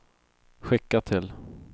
skicka till